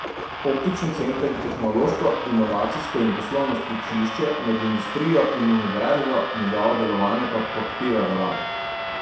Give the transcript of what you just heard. Optični center je tehnološko, inovacijsko in poslovno stičišče med industrijo in univerzo, njegovo delovanje pa podpira vlada.